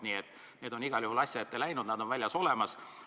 Nii et need on igal juhul asja ette läinud, nad on olemas.